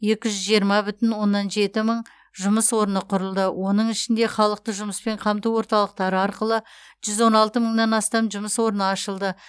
екі жүз жиырма бүтін оннан жеті мың жұмыс орны құрылды оның ішінде халықты жұмыспен қамту орталықтары арқылы жүз он алты мыңнан астам жұмыс орны ашылды